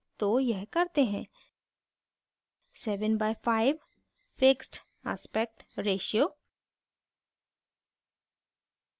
तो यह करते हैं 7:5 fixed aspect ratio